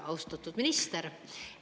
Austatud minister!